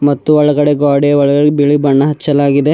ಮತ್ತು ಒಳಗಡೆ ಗ್ವಾಡೆ ಒಳಗಡೆ ಬಿಳಿ ಬಣ್ಣ ಹಚ್ಚಲಾಗಿದೆ.